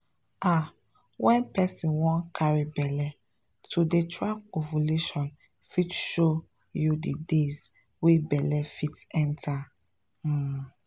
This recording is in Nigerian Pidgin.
ah when person wan carry belle to dey track ovulation fit show you the days wey belle fit enter — pause.